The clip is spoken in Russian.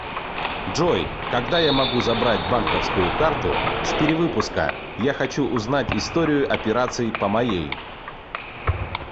джой когда я могу забрать банковскую карту с перевыпуска я хочу узнать историю операций по моей